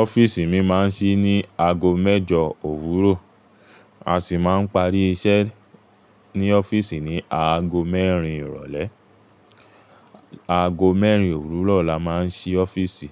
Ọ́fíìsì mi máa ń ṣí ní aago mẹ́jọ òwúrọ̀, a sì máa ń parí iṣẹ́ ní ọ́fíìsì ní aago mẹ́rin ìrọ̀lẹ́. Aago mẹ́rin òwúrọ̀ la máa ń ṣí ọ́fíìsì,